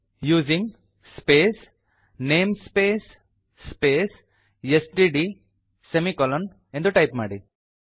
using space namespace space STD semicolon 160 ಎಂದು type ಮಾಡಿ